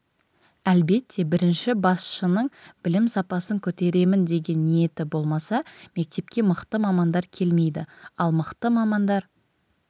әлбетте бірінші басшының білім сапасын көтеремін деген ниеті болмаса мектепке мықты мамандар келмейді ал мықты мамандар